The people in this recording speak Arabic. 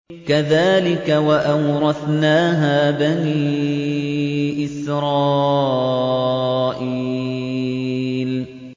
كَذَٰلِكَ وَأَوْرَثْنَاهَا بَنِي إِسْرَائِيلَ